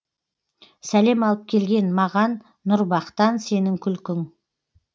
сәлем алып келген маған нұр бақтан сенің күлкің